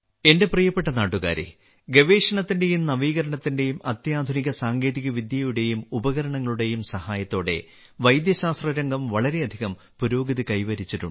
എന്റെ പ്രിയപ്പെട്ട നാട്ടുകാരേ ഗവേഷണത്തിന്റെയും നവീകരണത്തിന്റെയും അത്യാധുനിക സാങ്കേതികവിദ്യയുടെയും ഉപകരണങ്ങളുടെയും സഹായത്തോടെ വൈദ്യശാസ്ത്രരംഗം വളരെയധികം പുരോഗതി കൈവരിച്ചിട്ടുണ്ട